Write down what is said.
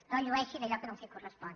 no llueixi d’allò que no els correspon